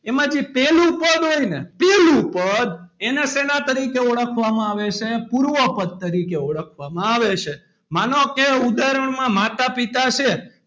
એમાંથી પહેલું પદ હોય ને પહેલું પદ એના શેના તરીકે ઓળખવામાં આવે છે પૂર્વ પદ તરીકે ઓળખવામાં આવે છે માનો કે ઉદાહરણ માં માતા પિતા છે.